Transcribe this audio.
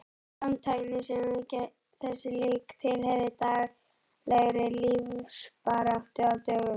Framtakssemi þessu lík tilheyrði daglegri lífsbaráttu á dögum